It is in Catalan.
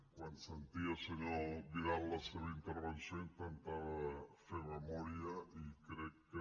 quan sentia el senyor vidal la seva intervenció intentava fer memòria i crec que